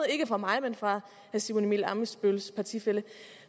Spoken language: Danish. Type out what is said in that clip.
ikke fra mig men fra herre simon emil ammitzbølls partifælle